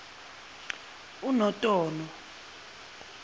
unotono